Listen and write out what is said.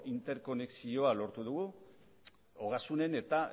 interkonexioa lortu dugu ogasunen eta